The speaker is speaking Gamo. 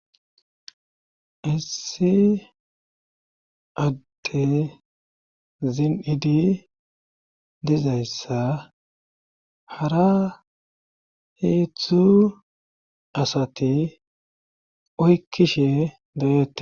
Issi adde zinidi dizayssa hara heetzdtzu asati oykkishe be7ette.